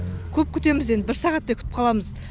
көп күтеміз енді бір сағаттай күтіп қаламыз